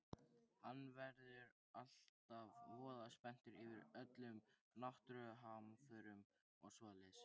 Hann verður alltaf voða spenntur yfir öllum náttúruhamförum og svoleiðis.